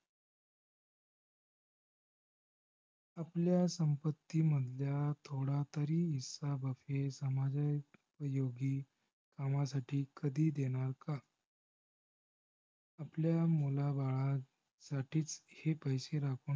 आपल्या संपत्तीमधल्या थोडा तरी हिस्सा बुफे समजा योगी समाजासाठी कधी देणार का? आपल्या मुलाबाळासाठीच हे पैसे राखून